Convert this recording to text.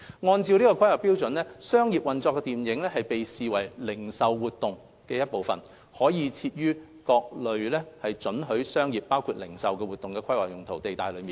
按照《規劃標準》，商業運作的電影院被視為零售活動的一部分，可設於各類准許商業活動的規劃用途地帶內。